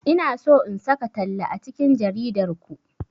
Ina so in saka talla a cikin jaridar ku.